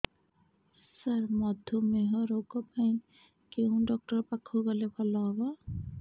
ସାର ମଧୁମେହ ରୋଗ ପାଇଁ କେଉଁ ଡକ୍ଟର ପାଖକୁ ଗଲେ ଭଲ ହେବ